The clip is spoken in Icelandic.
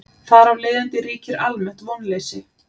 Þar af leiðandi ríkir almennt vonleysi.